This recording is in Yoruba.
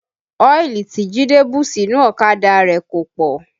Ọ́ìlì tí Jide bù sínú ọ̀kadà rẹ̀ kò pọ̀